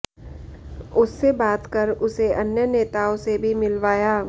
उससे बात कर उसे अन्य नेताओं से भी मिलवाया